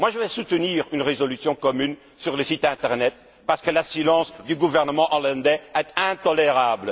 Je vais soutenir une résolution commune sur le site internet parce que le silence du gouvernement hollandais est intolérable.